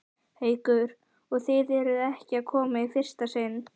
Haukur: Og þið eruð ekki að koma í fyrsta sinn?